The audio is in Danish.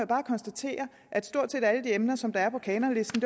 bare konstatere at stort set alle de her emner som er på kanonlisten